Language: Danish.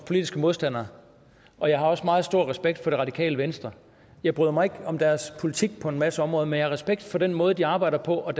politiske modstandere og jeg har også meget stor respekt for det radikale venstre jeg bryder mig ikke om deres politik på en masse områder men jeg har respekt for den måde de arbejder på og